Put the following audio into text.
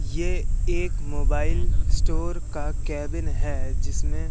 ये एक mobile store का केबिन है जिसमें--